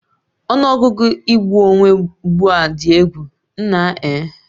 Ọnụ ọgụgụ igbu onwe ugbu a dị egwu, nna eh